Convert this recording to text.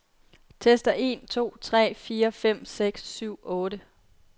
Tester en to tre fire fem seks syv otte.